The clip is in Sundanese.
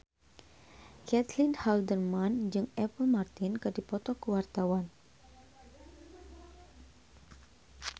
Caitlin Halderman jeung Apple Martin keur dipoto ku wartawan